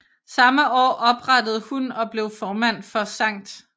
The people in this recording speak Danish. Samme år oprettede hun og blev formand for St